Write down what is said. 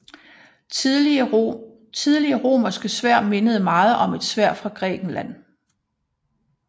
Tidlige romerske sværd mindede meget om sværd fra Grækenland